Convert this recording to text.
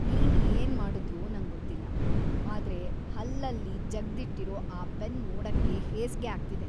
ನೀನ್ ಏನ್ ಮಾಡುದ್ಯೋ ನಂಗೊತ್ತಿಲ್ಲ, ಆದ್ರೆ ಹಲ್ಲಲ್‌ ಜಗ್ದಿಟ್ಟಿರೋ ಆ ಪೆನ್‌ ನೋಡಕ್ಕೇ ಹೇಸ್ಗೆ ಆಗ್ತಿದೆ.